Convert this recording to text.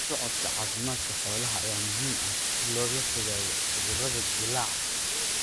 La socodka caafimaadka xoolaha ayaa muhiim ah si looga fogaado cudurro dillaaca.